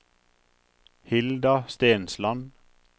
Hilda Stensland